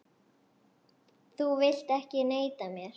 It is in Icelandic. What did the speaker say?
Þú vilt ekki neita mér.